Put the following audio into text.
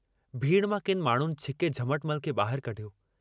भीड़ मां किन माण्डुनि छिके झमटमल खे बाहिर कढियो।